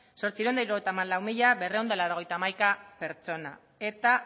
zortziehun eta hirurogeita hamalau mila berrehun eta laurogeita hamaika pertsona eta